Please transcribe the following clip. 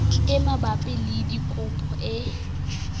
e mabapi le dikopo e